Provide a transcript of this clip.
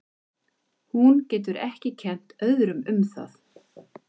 Hún getur ekki kennt öðrum um það.